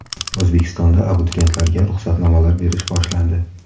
O‘zbekistonda abituriyentlarga ruxsatnomalar berish boshlandi.